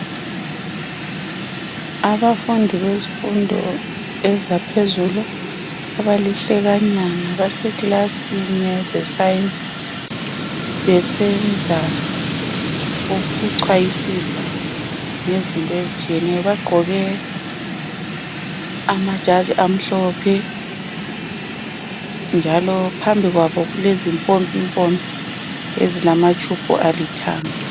Abafundi bezifundo ezaphezulu abalihlekanyana basekilasini yeze science besenza ukuchwayisisa ngezinto ezitshiyeneyo .Bagqoke amajazi amhlophe njalo phambi kwabo kulezi mpompimpompi ezilamatshubhu alithanga